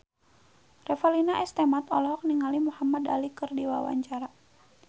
Revalina S. Temat olohok ningali Muhamad Ali keur diwawancara